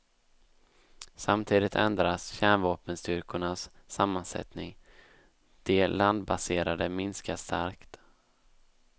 Samtidigt ändras kärnvapenstyrkornas sammansättning, de landbaserade minskar starkt.